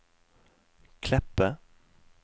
Kleppe